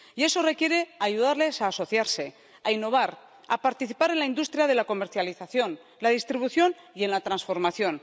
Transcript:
Y eso requiere ayudarles a asociarse, a innovar, a participar en la industria de la comercialización, la distribución y la transformación.